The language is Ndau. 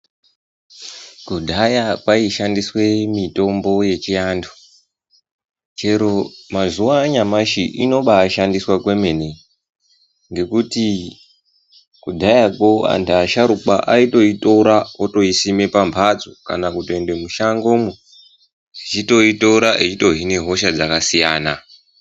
Kudhaya kwaishandiswe mitombo yechiantu ,chero mazuva anyamashi zvinobaishaniswa kwemene ngekuti kudhaya koantu asharukwa aitoitora oisima pambatso ,kana kutoenda mushangomo aichitoitora achitohinya hosha dzakasiyana.